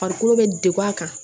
Farikolo bɛ degun a kan